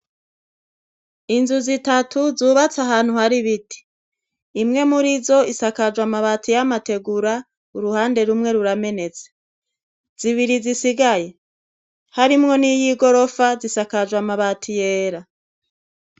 Inzu zitatu zubatse ahantu hari ibiti. Imwe muri zo, isakajwe amabati y' abategura, uruhande rumwe ruramenetse . Zibiri zisigaye harimwo n' iyigorofa, zisakajwe amabati yera.